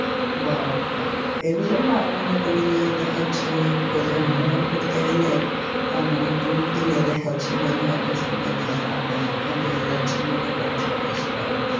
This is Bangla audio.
বা এইজন্য আমি মনে করি যে দেখা যাচ্ছে যে কোথাও ভ্রমণ করতে গেলে আহ মানে tour দিলে দেখা যাচ্ছে বন্ধু বান্ধব সঙ্গে নিয়ে আছে এক জায়গায় যাচ্ছেন মনে করেন .